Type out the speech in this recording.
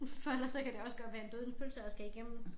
For ellers så kan det også godt være en dødens pølse at skal igennem